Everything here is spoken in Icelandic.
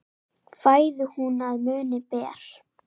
Fæðu hún að munni ber.